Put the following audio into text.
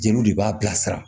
Jeliw de b'a bila sira